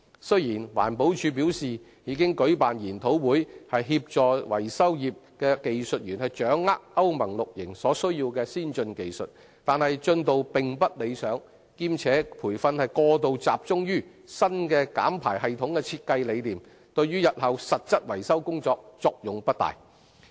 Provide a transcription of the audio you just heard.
雖然環保署表示已舉辦研討會，協助維修業技術員掌握歐盟 VI 期所需的先進技術，但進度並不理想，兼且培訓過度集中新減排系統的設計理念，對日後實質維修工作的作用不大。